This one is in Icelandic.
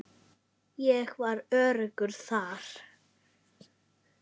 Ég var öruggur þar.